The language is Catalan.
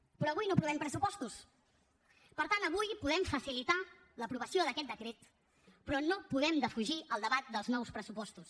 però avui no aprovem pressupostos per tant avui podem facilitar l’aprovació d’aquest decret però no podem defugir el debat dels nous pressupostos